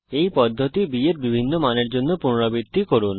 এই পদ্ধতি b এর বিভিন্ন মানের জন্য পুনরাবৃত্তি করুন